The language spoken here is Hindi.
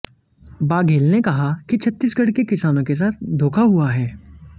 बाघेल ने कहा कि छत्तीसगढ़ के किसानों के साथ धोखा हुआ है